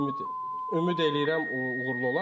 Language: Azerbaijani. Ümid ümid eləyirəm uğurlu olar.